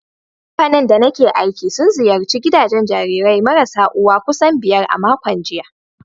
Kamfanin da nake aiki sun ziyarci gidajen jarirai marasa uwa kusan biyar a makon jiya.